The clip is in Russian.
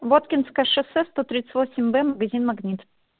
воткинское шоссе сто тридцать восемь б магазин магнит